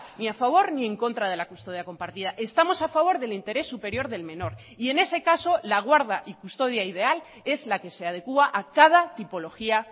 ni a favor ni en contra de la custodia compartida estamos a favor del interés superior del menor y en ese caso la guarda y custodia ideal es la que se adecúa a cada tipología